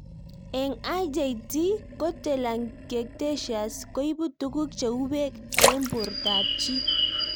Eng' IJT ko telangiectasias koipu tuguk cheu peek eng' portab chii